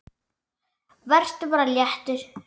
Vertu bara léttur!